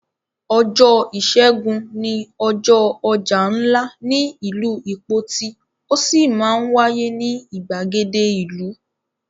Ọjọ́ ìṣẹ́gun ni ọjọ́ ọjà ńlá ní ìlú Ìpoti ó sì máa ń wáyé ní ìgbàgede ìlú.